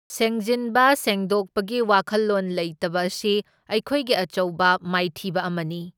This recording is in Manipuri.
ꯁꯦꯡꯖꯤꯟꯕ ꯁꯦꯡꯗꯣꯛꯄꯒꯤ ꯋꯥꯈꯜꯂꯣꯟ ꯂꯩꯇꯕ ꯑꯁꯤ ꯑꯩꯈꯣꯏꯒꯤ ꯑꯆꯧꯕ ꯃꯥꯏꯊꯤꯕ ꯑꯃꯅꯤ꯫